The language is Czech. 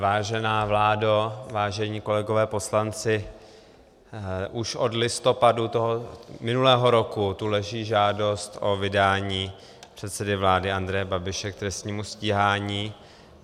Vážená vládo, vážení kolegové poslanci, už od listopadu minulého roku tu leží žádost o vydání předsedy vlády Andreje Babiše k trestnímu stíhání.